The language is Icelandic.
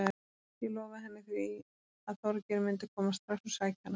Ég lofaði henni því að Þorgeir myndi koma strax og sækja hana.